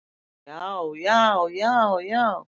Já, já, já, já!